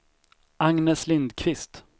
Agnes Lindqvist